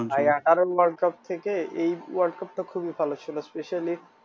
এই world cup টা খুবই ভাল ছিল specially